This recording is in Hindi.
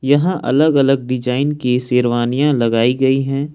यहां अलग अलग डिजाइन की शेरवानियां लगाई गई हैं।